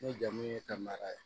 Ne jamu ye ka mara ye